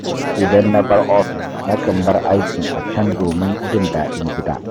Idan na bar ofis na kan bar aikin a can domin jin daɗin gida.